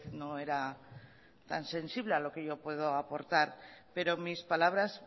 no era tan sensible a lo que yo puedo aportar pero mis palabras